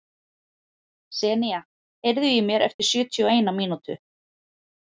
Senía, heyrðu í mér eftir sjötíu og eina mínútur.